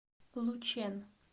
лучэн